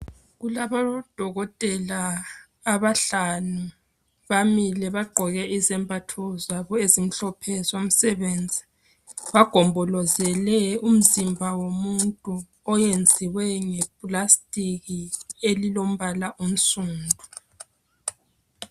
Kulabo dokotela abahlanu bamile bagqoke izembatho zabo ezimhlophe zomsebenzi bagombolozele umzimba womuntu oyenziwe ngephepha elilombala onsundu.